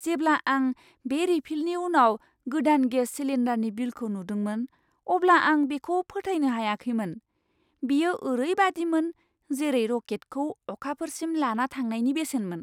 जेब्ला आं बे रिफिलनि उनाव गोदान गेस सिलिन्डारनि बिलखौ नुदोंमोन अब्ला आं बेखौ फोथायनो हायाखैमोन। बेयो ओरैबादिमोन जेरै रकेटखौ अखाफोरसिम लाना थांनायनि बेसेनमोन।